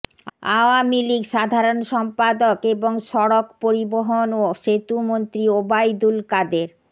আওয়ামী লীগ সাধারণ সম্পাদক এবং সড়ক পরিবহন ও সেতুমস্ত্রী ওবায়দুল কাদের